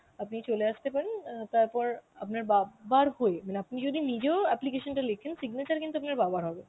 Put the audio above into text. আপনি চলে আসতে পারেন অ্যাঁ তারপর আপনার বাবার হয়ে মানে আপনি যদি নিজেও application টা লেখেন signature কিন্তু আপনার বাবার হবে.